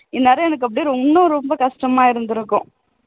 இந்நேரம் எனக்கு அப்படியே ரொம்ப ரொம்ப கஷ்டமா இருந்திருக்கும்